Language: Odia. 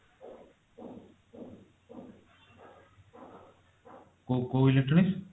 କୋଉ କୋଉ electronics